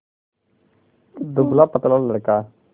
दुबलापतला लड़का